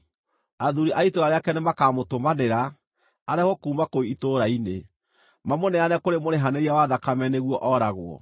athuuri a itũũra rĩake nĩmakamũtũmanĩra, arehwo kuuma kũu itũũra-inĩ, mamũneane kũrĩ mũrĩhanĩria wa thakame nĩguo ooragwo.